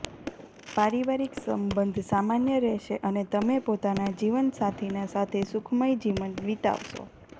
પારિવારિક સંબંધ સામાન્ય રહેશે અને તમે પોતાના જીવનસાથી ના સાથે સુખમય જીવન વિતાવશો